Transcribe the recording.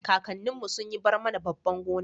kakannin mu sun yi barmana babban gona